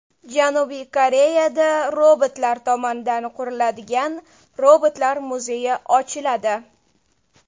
Janubiy Koreyada robotlar tomonidan quriladigan robotlar muzeyi ochiladi.